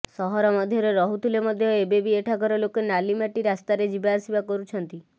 ସହର ମଧ୍ୟରେ ରହୁଥିଲେ ମଧ୍ୟ ଏବେ ବି ଏଠାକାର ଲୋକେ ନାଲିମାଟି ରାସ୍ତାରେ ଯିବା ଆସିବା କରୁଛନ୍ତି